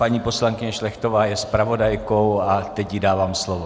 Paní poslankyně Šlechtová je zpravodajkou a teď jí dávám slovo.